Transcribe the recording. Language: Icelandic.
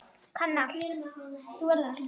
Kann allt.